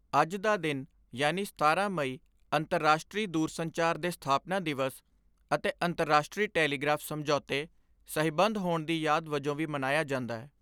ਅੱਜ ਦਾ ਦਿਨ ਯਾਨੀ ਸਤਾਰਾਂ ਮਈ ਅੰਤਰਰਾਸ਼ਟਰੀ ਦੂਰਸੰਚਾਰ ਦੇ ਸਥਾਪਨਾ ਦਿਵਸ ਅਤੇ ਅੰਤਰਾਸ਼ਟਰੀ ਟੇਲੀਗ੍ਰਾਫ ਸਮਝੌਤੇ ਸਹੀਬੰਦ ਹੋਣ ਦੀ ਯਾਦ ਵਜੋਂ ਵੀ ਮਨਾਇਆ ਜਾਂਦੈ।